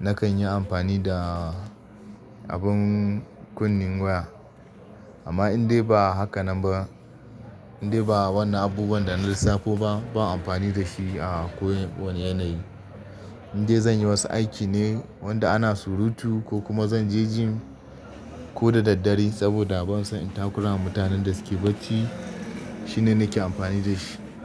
nakan yi amfani da abin kunnen waya. Amma indai ba haka nan ba, indai ba wannan abubuwan da na lissafo ba, ban yi amfani da shi a ko wane yanayi. Indai zan yi wasu aiki ne wanda ana surutu ko kuma zan je gym ko da daddare saboda ban so in takurama mutanen da suke bacci shine nake amfani da shi.